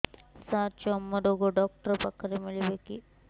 ସାର ଚର୍ମରୋଗ ଡକ୍ଟର ପାଖରେ ମିଳିବେ କି